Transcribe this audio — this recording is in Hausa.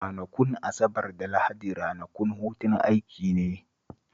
Ranakun Asabar da Lahadi ranakun hutun aiki ne